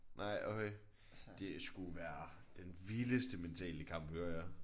Nej okay. Det skulle være den vildeste mentale kamp hører jeg